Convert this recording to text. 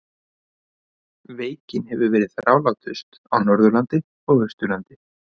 Veikin hefur verið þrálátust á Norðurlandi og Austurlandi.